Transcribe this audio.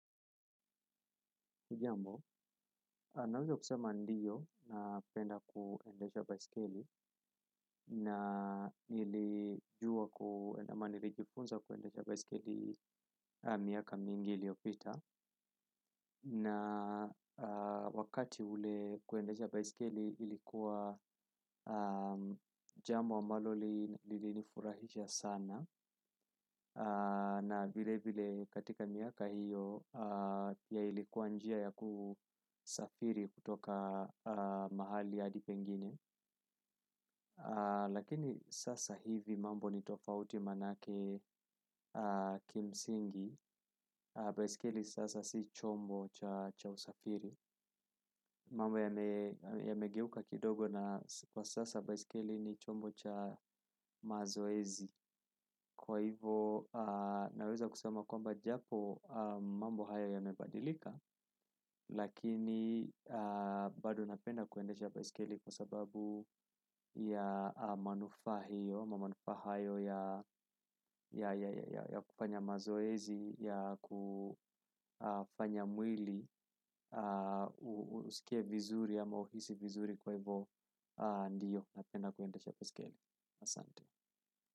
Hujambo, naweza kusema ndio napenda kuendesha baisikeli na nilijua kuenda mahali, nilijifunza kuendesha baisikeli miaka mingi iliopita. Na wakati ule kuendesha baiskeli lilikuwa jambo ambalo lilinifurahisha sana. Na vile vile katika miaka hiyo ya ilikuwa njia ya kusafiri kutoka mahali hadi pengine. Lakini sasa hivi mambo ni tofauti manake kimsingi, baisikeli sasa si chombo cha usafiri, mambo yamegeuka kidogo na sasa baisikeli ni chombo cha mazoezi. Kwa hivo naweza kusema kwamba japo mambo haya yamebadilika, lakini bado napenda kuendesha baisikeli kwa sababu ya manufaahiyo, kwa manufaa hayo ya, ya kufanya mazoezi, ya kufanya mwili, usikie vizuri ama uhisi vizuri kwa hivyo ndiyo. Napenda kuendesha baiskeli. Asante.